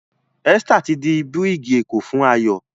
Esther tí dì birigi eko fún Ayo